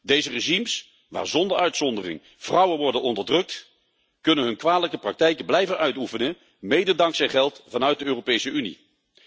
Deze regimes waar zonder uitzondering vrouwen worden onderdrukt, kunnen hun kwalijke praktijken blijven uitoefenen, mede dankzij geld vanuit de Europese Unie.